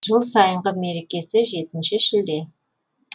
жыл сайынғы мерекесі жетінші шілде